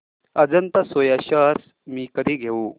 Ajanta soya shares मी कधी घेऊ